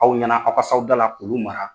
Aw ɲɛna aw ka s'aw da la k'olu mara